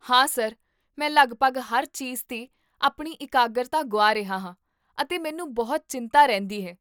ਹਾਂ ਸਰ, ਮੈਂ ਲਗਭਗ ਹਰ ਚੀਜ਼'ਤੇ ਆਪਣੀ ਇਕਾਗਰਤਾ ਗੁਆ ਰਿਹਾ ਹਾਂ, ਅਤੇ ਮੈਨੂੰ ਬਹੁਤ ਚਿੰਤਾ ਰਹਿੰਦੀ ਹੈ